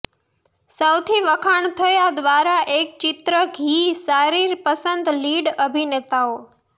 સૌથી વખાણ થયા દ્વારા એક ચિત્ર ધી સારી પસંદ લીડ અભિનેતાઓ